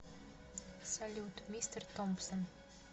салют мистер томпсон